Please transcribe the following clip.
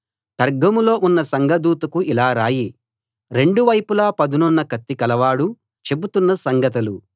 పెర్గములో ఉన్న సంఘదూతకు ఇలా రాయి రెండు వైపులా పదునున్న కత్తి కలవాడు చెబుతున్న సంగతులు